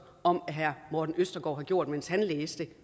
om at herre morten østergaard har gjort mens han læste